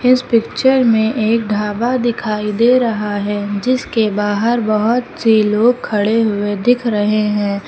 इस पिक्चर में एक ढाबा दिखाई दे रहा है जिसके बाहर बहुत से लोग खड़े हुए दिख रहे हैं।